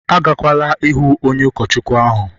agakwala ihụ onye ụkọchukwu ahụ!